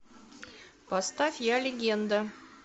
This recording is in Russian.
поставь я легенда